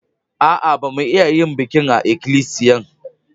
A'a, ba mu'a yin bikin a'ikilisiyan.